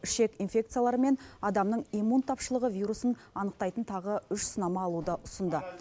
ішек инфекциялары мен адамның иммун тапшылығы вирусын анықтайтын тағы үш сынама алуды ұсынды